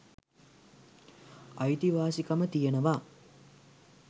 අයිතිවාසිකම තියෙනවා